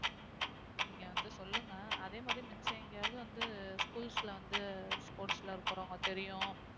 நீங்க வந்து சொல்லுங்க அதே மாதிரி மிச்சம் எங்கேயாவது வந்து schools ல வந்து sports ல இருக்கிறவங்க தெரியும்